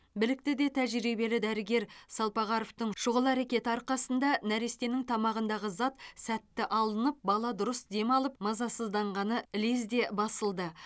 білікті де тәжірибелі дәрігер салпағаровтың шұғыл әрекеті арқасында нәрестенің тамағындағы зат сәтті алынып бала дұрыс демалып мазасызданғаны лезде басылды